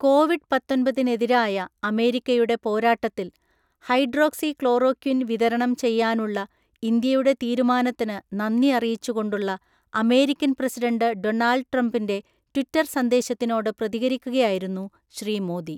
Covid പത്തൊന്‍പതിനെതിരായ അമേരിക്കയുടെ പോരാട്ടത്തില്‍ ഹൈഡ്രോക്സിക്ലോറോക്വിന്‍ വിതരണം ചെയ്യാനുള്ള ഇന്ത്യയുടെ തീരുമാനത്തിന് നന്ദി അറിയിച്ചു കൊണ്ടുള്ള അമേരിക്കന് പ്രസിഡന്റ് ഡോണള്‍ഡ് ട്രംപിന്‍റെ ട്വിറ്റര്‍ സന്ദേശത്തിനോട് പ്രതികരിക്കുകയായിരുന്നു ശ്രീ മോദി.